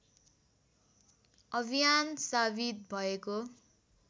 अभियान साबित भएको